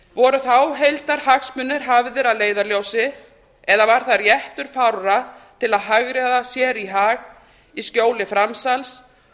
voru þá heildarhagsmunir hafðir að leiðarljósi eða var það réttur fárra til að hagræða sér í hag í skjóli framsals